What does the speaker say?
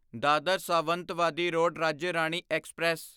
Dadar Sawantwadi road Rajya Rani express